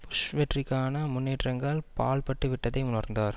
push வெற்றிக்கான முன்னேற்றங்கள் பாழ்பட்டுவிட்டதை உணர்ந்தனர்